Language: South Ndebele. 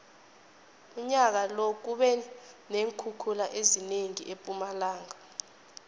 unyaka lo kube neenkhukhula ezinengi empumalanga